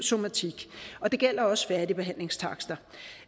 somatik og det gælder også færdigbehandlingstakster